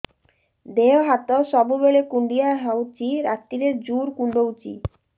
ଦେହ ହାତ ସବୁବେଳେ କୁଣ୍ଡିଆ ହଉଚି ରାତିରେ ଜୁର୍ କୁଣ୍ଡଉଚି